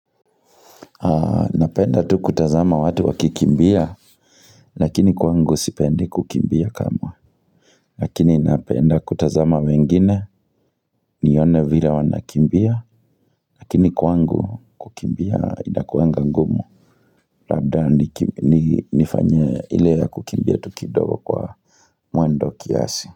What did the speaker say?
Napenda kutazama tu watu wakikimbia, lakini kwangu sipendi kukimbia kamwe lakini napenda kutazama wengine nione vile wanakimbia lakini kwangu kukimbia inakuwanga ngumu, labda niki nifanye ile ya kukimbia tu kidogo kwa mwendo kiasi.